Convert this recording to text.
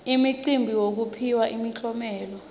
imicimbi yekuphiwa imiklomelo